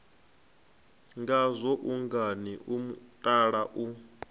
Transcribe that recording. ngazwo ungani o mutala u